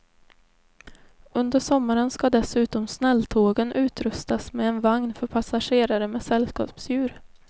Under sommaren ska dessutom snälltågen utrustas med en vagn för passagerare med sällskapsdjur.